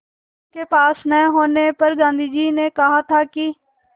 उनके पास न होने पर गांधी ने कहा था कि